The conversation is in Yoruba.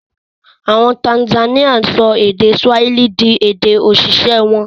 Àwọn Tanzanian sọ èdè Swahili di èdè-òṣìṣẹ́ wọn.